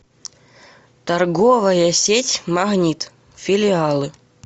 торговая сеть магнит филиалы